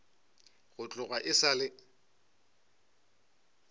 go tloga e sa le